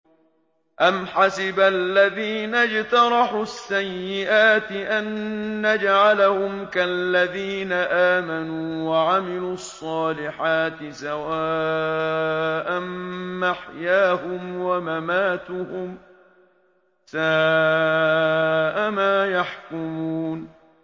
أَمْ حَسِبَ الَّذِينَ اجْتَرَحُوا السَّيِّئَاتِ أَن نَّجْعَلَهُمْ كَالَّذِينَ آمَنُوا وَعَمِلُوا الصَّالِحَاتِ سَوَاءً مَّحْيَاهُمْ وَمَمَاتُهُمْ ۚ سَاءَ مَا يَحْكُمُونَ